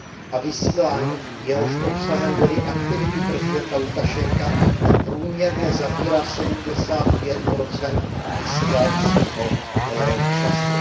A vysílání, jehož obsahem byly aktivity prezidenta Lukašenka, průměrně zabírá sedmdesát pět procent vysílacího času.